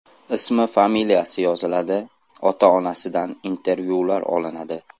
Ismi-familiyasi yoziladi, ota-onasidan intervyular olinadi.